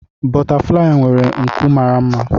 Bọtaflai nwere nku mara mma.